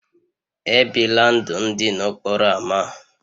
E bila ndụ ndị n'okporo ámá